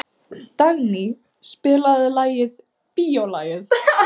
Dagný, spilaðu lagið „Bíólagið“.